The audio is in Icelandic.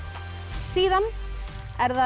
síðan er það